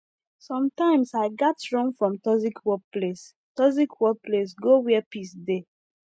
sometimes i gats run from toxic work place toxic work place go where peace dey